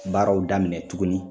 Baaraw daminɛ tuguni